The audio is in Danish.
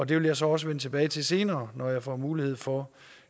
det vil jeg så også vende tilbage til senere når jeg får mulighed for